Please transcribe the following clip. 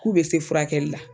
K'u be se furakɛli la